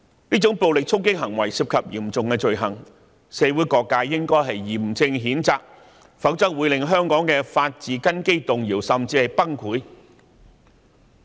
這種暴力衝擊行為涉及嚴重罪行，社會各界應該嚴正譴責，否則會令香港的法治根基動搖，甚至崩潰。